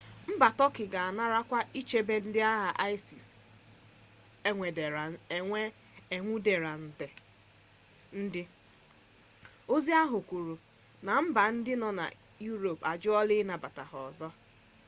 mba turkey ga-anarakwa ichebe ndị agha isis enwudere ndị ozi ahụ kwuru na mba ndị dị na europe ajụla ịnabata ha ọzọ